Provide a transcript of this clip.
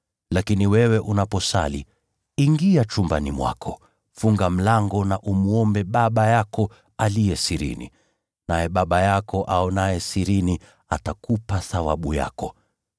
Lakini wewe unaposali, ingia chumbani mwako, funga mlango na umwombe Baba yako aliye sirini. Naye Baba yako aonaye sirini atakupa thawabu yako.